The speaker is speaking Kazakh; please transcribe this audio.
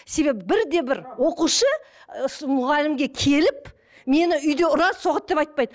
себебі бір де бір оқушы осы мұғалімге келіп мені үйде ұрады соғады деп айтпайды